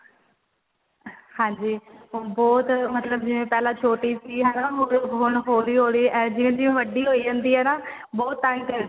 ਹਾਂਜੀ ਬਹੁਤ ਮਤਲਬ ਜਿਵੇਂ ਪਹਿਲਾ ਛੋਟੀ ਸੀ ਹੈਨਾ ਹੁਣ ਹੋਲੀ ਹੋਲੀ ਇਹ ਜਿਵੇਂ ਜਿਵੇਂ ਵੱਡੀ ਹੋਈ ਜਾਂਦੀ ਏ ਨਾ ਬਹੁਤ ਟਾਇਮ ਲੈਂਦੀ